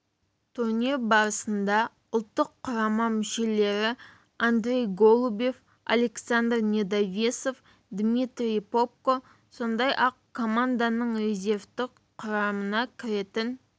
турнир барысында ұлттық құрама мүшелері андрей голубев александр недовесов дмитрий попко сондай-ақ команданың резервтік құрамына кіретін